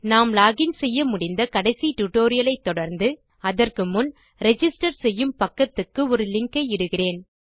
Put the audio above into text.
நாம் லோகின் செய்ய முடிந்த கடைசி டியூட்டோரியல் ஐ தொடர்ந்து அதற்கு முன் ரிஜிஸ்டர் செய்யும் பக்கத்துக்கு ஒரு லிங்க் ஐ இடுகிறேன்